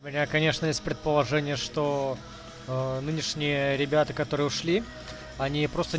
у меня конечно есть предположение что аа нынешние ребята которые ушли они просто